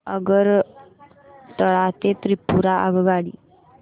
आगरतळा ते त्रिपुरा आगगाडी